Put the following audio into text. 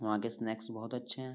वहाँ के स्नैक्स बहोत अच्छे हैं।